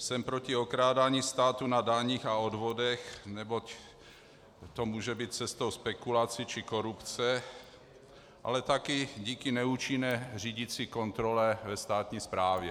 Jsem proti okrádání státu na daních a odvodech, neboť to může být cestou spekulací či korupce, ale také díky neúčinné řídicí kontrole ve státní správě.